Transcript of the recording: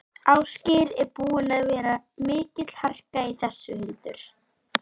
Biskup með bagal og mítru fylgir úr hlaði lögum kirkjunnar.